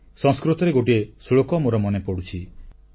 ଗୋଟିଏ ସଂସ୍କୃତ ଶ୍ଲୋକ ମୋର ମନେପଡ଼ୁଛି